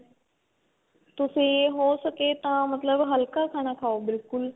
ਤੁਸੀਂ ਹੋ ਸਕੇ ਤਾਂ ਮਤਲਬ ਹਲਕਾ ਖਾਣਾ ਖਾਉ ਬਿਲਕੁਲ